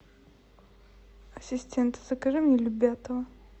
ассистент закажи мне любятово